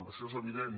això és evident